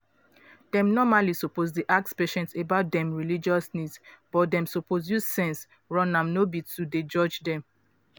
dem normally suppose dey ask patient about dem religious needs but dem suppose use sense run am no be to dey judge dem.